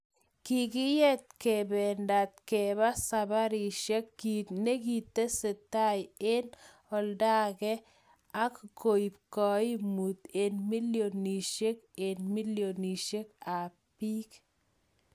Kikiyet kebendat kebaa saparishek kit nekikitesentai en oldaake ak koib koimut en millionishek en millionishek ab bik